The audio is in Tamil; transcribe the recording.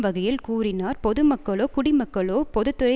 வகையில் கூறினார் பொதுமக்களோ குடிமக்களோ பொது துறை